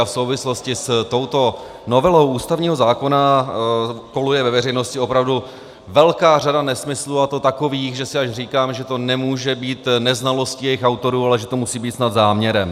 A v souvislosti s touto novelou ústavního zákona koluje ve veřejnosti opravdu velká řada nesmyslů, a to takových, že si až říkám, že to nemůže být neznalostí jejich autorů, ale že to musí být snad záměrem.